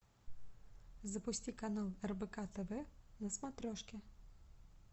запусти канал рбк тв на смотрешке